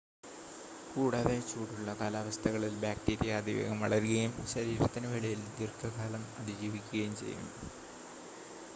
കൂടാതെ, ചൂടുള്ള കാലാവസ്ഥകളിൽ ബാക്ടീരിയ അതിവേഗം വളരുകയും ശരീരത്തിനു വെളിയിൽ ദീർഘകാലം അതിജീവിക്കുകയും ചെയ്യും